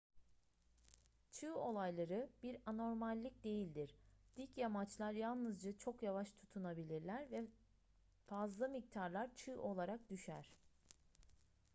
çığ olayları bir anormallik değildir dik yamaçlar yalnızca çok yavaş tutunabilirler ve fazla miktarlar çığ olarak düşer